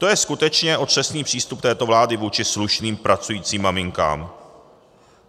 To je skutečně otřesný přístup této vlády vůči slušným pracujícím maminkám.